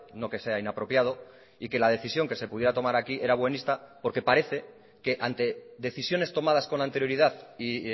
no que sea inapropiado y que la decisión que se pudiera tomar aquí era buenista porque parece que ante decisiones tomadas con anterioridad y